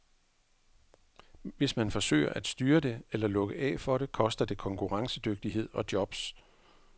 Hvis man forsøger at styre det eller lukke af for det, koster det konkurrencedygtighed og jobs.